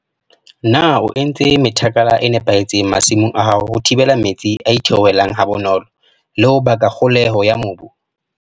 Na o entse methakala e nepahetseng masimong a hao ho thibela metsi a itheohelang ha bonolo le ho baka kgoholeho ya mobu?